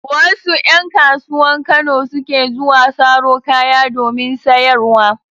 Wasu ƴan kasuwan Kano suke zuwa saro kaya domin sayarwa.